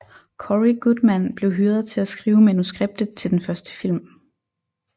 Cory Goodman blev hyret til at skrive manuskriptet til den første film